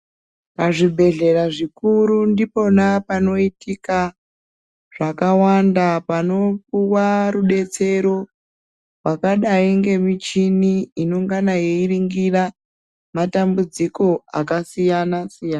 Pazvibhehlera zvikuru ndipona panoitika zvakawanda panopuwa rudetsero rwakadai nemichini inongana yeiringira matambudziko akasiyana siyana.